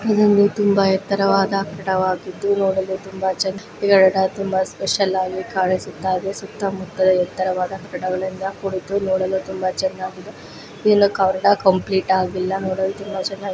ಇದೊಂದು ತುಂಬಾ ಎತ್ತರವಾದ ಕಟ್ಟಡವಾಗಿದ್ದು ಇದು ನೋಡಲು ತುಂಬಾ ಚಂದ ಈ ಕಟ್ಟಡ ತುಂಬಾ ಸ್ಪೆಶಲ್ ಆಗಿ ಕಾಣಿಸುತ್ತಾಯಿದೆ ಸುತ್ತ ಮುತ್ತ ಎತ್ತರವಾದ ಕಟ್ಟಡಗಳಿಂದ ಕೂಡಿದ್ದು ನೋಡಲು ತುಂಬಾ ಚನ್ನಾಗಿದೆ ಇನ್ನು ಕಟ್ಟಡ ಕಂಪ್ಲೀಟ್ ಆಗಿಲ್ಲ ನೋಡಲು ತುಂಬಾ ಚೆನ್ನಾಗಿ --